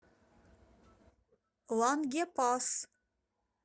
лангепас